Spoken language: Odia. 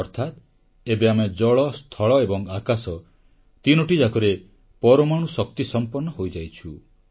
ଅର୍ଥାତ ଏବେ ଆମେ ଜଳ ସ୍ଥଳ ଏବଂ ଆକାଶ ତିନୋଟି ଯାକରେ ପରମାଣୁ ଶକ୍ତିସମ୍ପନ୍ନ ହୋଇଯାଇଛୁ